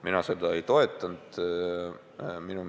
Mina seda ei toetanud.